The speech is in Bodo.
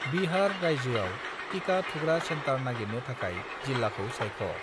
बिहार रायजोआव टिका थुग्रा सेन्टार नागिरनो थाखाय जिल्लाखौ सायख'।